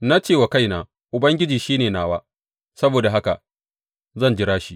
Na ce wa kaina, Ubangiji shi ne nawa; saboda haka zan jira shi.